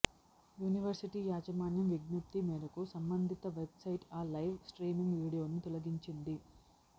university యాజమాన్యం విజ్ఞప్తి మేరకు సంబంధిత వెబ్సైట్ ఆ లైవ్ స్ట్రీమింగ్ వీడియోను తొలగించింది